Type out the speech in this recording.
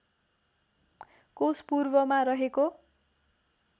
कोष पूर्वमा रहेको